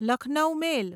Lucknow મેલ